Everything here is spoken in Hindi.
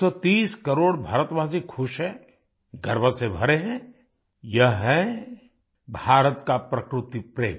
130 करोड़ भारतवासी खुश हैं गर्व से भरे हैं यह है भारत का प्रकृति प्रेम